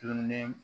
Dumuni